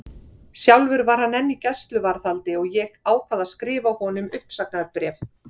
Sjálfur var hann enn í gæsluvarðhaldi og ég ákvað að skrifa honum uppsagnarbréf.